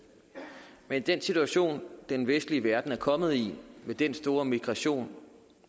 men i den situation den vestlige verden er kommet i med den store migration